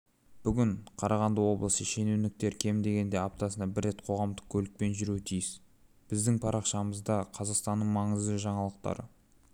бүгін қарағанды облысы шенеуніктеркем дегенде аптасына бір рет қоғамдық көлікпенжүруі тиіс біздің парақшамызда қазақстанның маңызды жаңалықтары